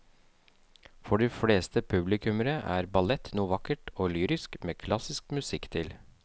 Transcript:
For de fleste publikummere er ballett noe vakkert og lyrisk med klassisk musikk til.